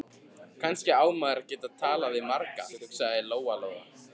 Kannski á maður að geta talað við marga, hugsaði Lóa-Lóa.